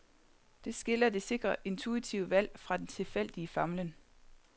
Det skiller det sikre intuitive valg fra den tilfældige famlen.